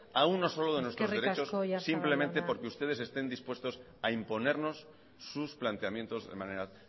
a uno solo de nuestros derechos eskerrik asko señor oyarzabal simplemente porque ustedes estén dispuestos a imponernos sus planteamientos de manera